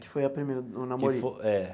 Que foi a primeira, o namorico? Que fo é.